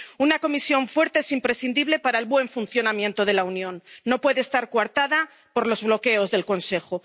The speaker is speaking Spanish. Una Comisión fuerte es imprescindible para el buen funcionamiento de la Unión, no puede estar coartada por los bloqueos del Consejo.